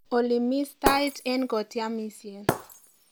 olly imis tait en kotiamisien